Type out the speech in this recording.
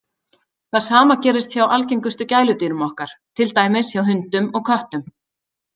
Það sama gerist hjá algengustu gæludýrum okkar, til dæmis hjá hundum og köttum.